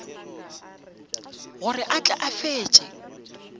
gore a tle a fetše